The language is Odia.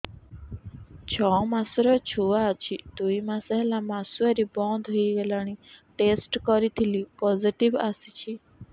ଛଅ ମାସର ଛୁଆ ଅଛି ଦୁଇ ମାସ ହେଲା ମାସୁଆରି ବନ୍ଦ ହେଇଗଲାଣି ଟେଷ୍ଟ କରିଥିଲି ପୋଜିଟିଭ ଆସିଛି